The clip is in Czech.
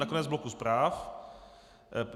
Na konec bloku zpráv.